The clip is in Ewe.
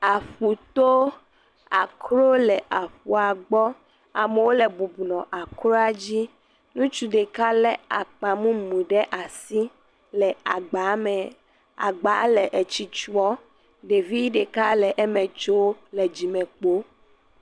Aƒuto, akrowo le aƒua gbɔ, amewo le bɔbɔnɔ akroa dzi, ŋutsu ɖeka lé akpa mumu ɖe asi le agba me, agba le esti tyɔ̃, ɖevi ɖeka le eme tsom le dzime kpo.